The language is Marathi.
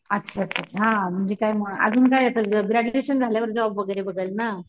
अच्छा अच्छा अच्छा हा म्हणजे काय मग अजून काय येत ग्रॅडज्युएशन झाल्यावर जॉब वगैरे बघेल ना.